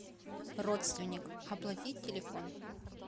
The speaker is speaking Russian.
родственник оплатить телефон